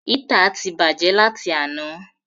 Hítà ti bàjẹ́ láti àná.